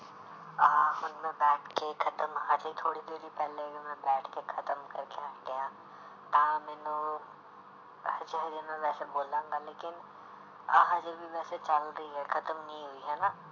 ਆਹ ਹੁਣ ਮੈਂ ਬੈਠ ਕੇ ਖ਼ਤਮ ਹਾਲੇ ਥੋੜ੍ਹੀ ਦੇਰ ਹੀ ਪਹਿਲਾਂ ਵੀ ਮੈਂ ਬੈਠ ਕੇ ਖ਼ਤਮ ਕਰਕੇ ਹਟਿਆਂ ਆਹ ਮੈਨੂੰ ਹਜੇ ਮੈਂ ਵੈਸੇ ਬੋਲਾਂਗਾ ਲੇਕਿੰਨ ਆਹ ਹਜੇ ਵੀ ਵੈਸੇ ਚੱਲ ਰਹੀ ਹੈ ਖ਼ਤਮ ਨੀ ਹੋਈ ਹਨਾ,